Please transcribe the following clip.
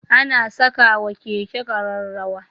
Ana sakawa Keke kararrawa